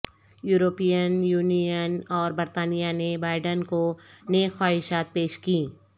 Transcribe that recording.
European Union اور برطانیہ نے بائیڈن کو نیک خواہشات پیش کیں